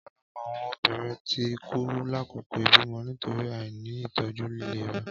Ọpọlọpọ awọn obirin ti ku lakoko ibimọ nitori aini itọju ilera